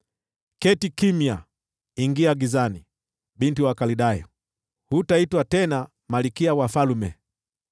“Keti kimya, ingia gizani, Binti wa Wakaldayo, hutaitwa tena malkia wa falme.